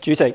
主席，